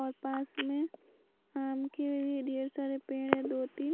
और पास में आम के ढेर सारे पेड़ हैं दो-तीन।